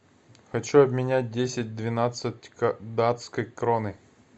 хочу обменять десять двенадцать датской кроны